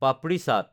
পাপৰি চাট